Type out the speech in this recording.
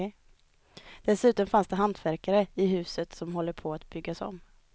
Dessutom fanns det hantverkare i huset som håller på att byggas om.